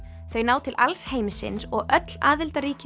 þau ná til alls heimsins og öll aðildarríki